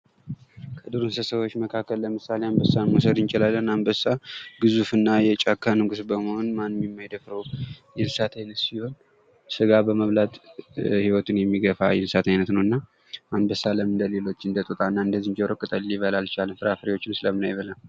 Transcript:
ከዱሮ እንስሳ መካከል ለምሳሌ አንበሳን መውሰድ እንችላለን ፤ አንበሳ ግዙፍና የጫካ ንጉስ በመሆን ማንም የማይደፍረዉ የእንስሳት አይነት ሲሆን ስጋ በመብላት ህይወቱን የሚገፋ የእንስሳት አይነት ነው። እና አንበሳ እንደ ሌሎች እንደ ጦጣና ዝንጀሮ ቅጠላቅጠል ሊበላ አልቻለም? ፍራፍሬዎችንስ ለምን አይበላም?